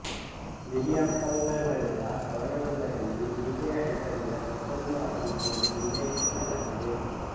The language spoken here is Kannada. ವಿಲಿಯಮ್ ಕೌಪರ್ ಬರೆದ ಕವನವೊಂದರಲ್ಲಿ ಈಕೆಯ ಹೆಸರಿನ ಮತ್ತೊಂದು ಆವೃತ್ತಿಯನ್ನು ಉಲ್ಲೇಖಿಸಲಾಗಿದೆ